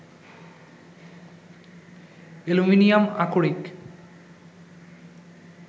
aluminium আকরিক